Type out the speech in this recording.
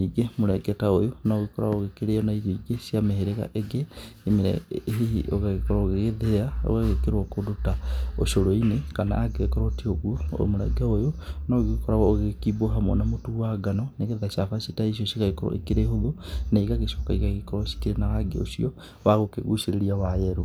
Ningĩ mũrenge ta ũyũ no ũgĩkoragwo ũgĩkĩrĩo na irio ingĩ cia mĩhĩrĩga ĩngĩ ĩrĩa hihi ũgagĩkorwo ũgĩgĩthĩa ũgagĩkĩrwo kũndũ ta ũcũrũ-inĩ. Kana angĩgĩkorwo ti ũgũo mũrenge ũyũ no ũgĩkoragwo ũgĩgĩkimwo hamwe na mũtu wa ngano, nĩ getha cabaci ta icio igagĩkorwo ikĩrĩ hũthũ na igagĩcoka igagĩkorwo ikĩrĩ na rangi ũcio wa gũkĩgucĩrĩria wa yerũ.